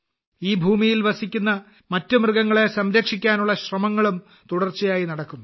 ഈ ഭൂമിയിൽ വസിക്കുന്ന മറ്റ് മൃഗങ്ങളെ സംരക്ഷിക്കാനുള്ള ശ്രമങ്ങളും തുടർച്ചയായി നടക്കുന്നു